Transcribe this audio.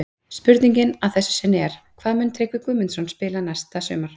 Spurningin að þessu sinni er: Hvar mun Tryggvi Guðmundsson spila næsta sumar?